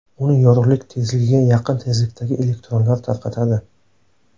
Uni yorug‘lik tezligiga yaqin tezlikdagi elektronlar tarqatadi.